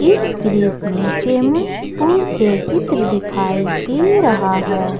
इस दृश्य में सेमुन पूल के चित्र दिखाई दे रहा है।